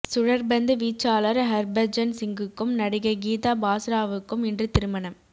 சுழற்பந்து வீச்சாளர் ஹர்பஜன் சிங்குக்கும் நடிகை கீதா பாஸ்ராவுக்கும் இன்று திருமணம்